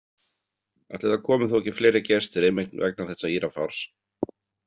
Ætli það komi þó ekki fleiri gestir einmitt vegna þessa írafárs.